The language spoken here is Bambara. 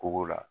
Koko la